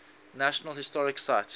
national historic site